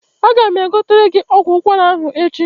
Aga m egotere gị ọgwụ ụkwara ahụ echi.